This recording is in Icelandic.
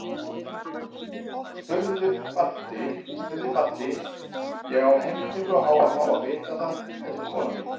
spurði Baddi, ég á heimtingu á að fá að vita það, þetta er konan mín.